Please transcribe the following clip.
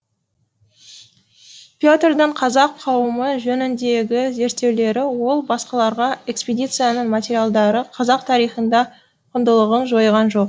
петрдің қазақ қауымы жөніндегі зерттеулері ол басқаларға экспедицияның материалдары қазақ тарихында құндылығын жойған жоқ